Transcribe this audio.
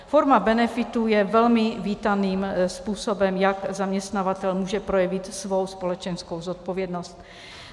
Forma benefitů je velmi vítaným způsobem, jak zaměstnavatel může projevit svou společenskou zodpovědnost.